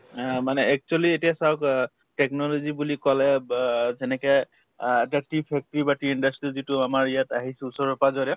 অ মানে actually এতিয়া চাওক অ technology বুলি কলে অব যেনেকে অ এটা tea factory বা tea industry যিটো আমাৰ ইয়াত আহিছো ওচৰে-পাজৰে